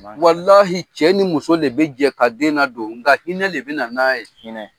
cɛ ni muso de bɛ jɛ ka den ladon nka hinɛ de bɛ na n'a ye.